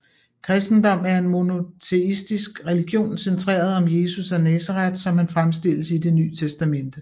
Kristendom er en monoteistisk religion centreret om Jesus af Nazareth som han fremstilles i Det Nye Testamente